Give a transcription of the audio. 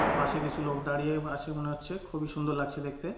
পাশে কিছু লোক দাঁড়িয়ে আ আছে মনে হচ্ছে খুবই সুন্দর লাগছে দেখতে।